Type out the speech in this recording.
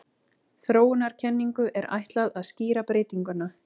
Þróunarkenningu er ætlað að skýra breytinguna.